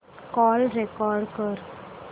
call record कर